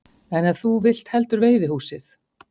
En ef þú vilt heldur veiðihúsið?